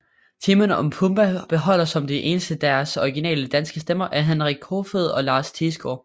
Timon og Pumba beholder som de eneste deres originale danske stemmer af Henrik Koefoed og Lars Thiesgaard